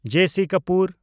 ᱡᱮ. ᱥᱤ. ᱠᱟᱯᱩᱨ